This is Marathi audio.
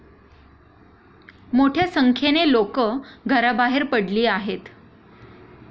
मोठ्या संख्येने लोकं घराबाहेर पडली आहेत.